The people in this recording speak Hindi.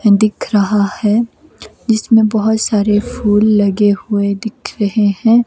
दिख रहा है जिसमे बहोत सारे फूल लगे हुए दिख रहे हैं।